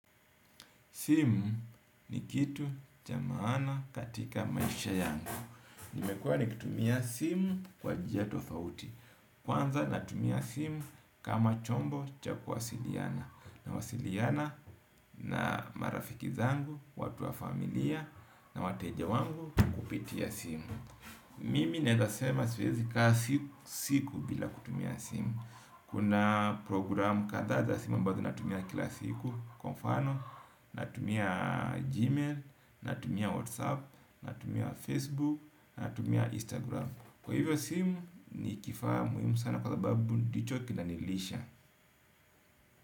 Simu ni kitu cha maana katika maisha yangu. Nimekuwa nikitumia simu kwa jia tofauti. Kwanza natumia simu kama chombo cha kuwasiliana. Nawasiliana na marafiki zangu, watu wa familia na wateja wangu kupitia simu. Mimi naeza sema siwezi kaa siku siku bila kutumia simu. Kuna programu kadhaa za simu ambazo natumia kila siku. Kwa mfano, natumia Gmail, natumia Whatsapp, natumia Facebook, natumia Instagram. Kwa hivyo simu, ni kifaa muimu sana kwa sababu ndicho kinanilisha.